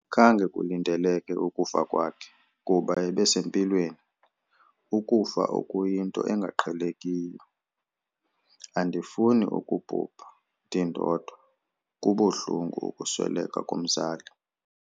Khange kulindeleke ukufa kwakhe kuba ebesempilweni. Ukufa oku yinto engaqhelekiyo, andifuni ukubhubha ndindodwa, kubuhlungu ukusweleka komzali.